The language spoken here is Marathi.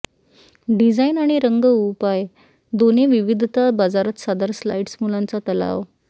डिझाइन आणि रंग उपाय दोन्ही विविधता बाजारात सादर स्लाइड्स मुलांचा तलाव